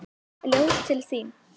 Ljóð til þín.